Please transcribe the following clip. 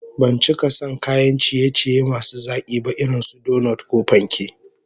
Ban cika son kayan ciye-ciye masu zaki ba irin su donot ko panke